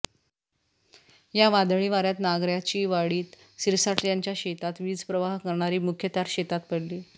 या वादळी वाऱ्यात नागऱ्याचीवाडीत सिरसाट यांच्या शेतात वीज प्रवाह करणारी मुख्य तार शेतात पडली